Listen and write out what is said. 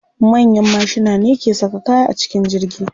Manyan mashina ne ke saka kaya a cikin jirgi.